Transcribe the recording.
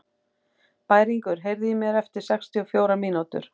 Bæringur, heyrðu í mér eftir sextíu og fjórar mínútur.